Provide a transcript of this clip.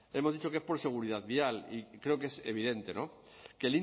hemos dicho que es por seguridad vial y creo que es evidente que